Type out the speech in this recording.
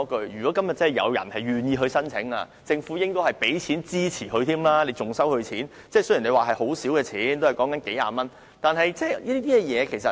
如果今天有人願意申請，政府應該付錢支持他，不應收費，即使牌照費很少，只是數十元。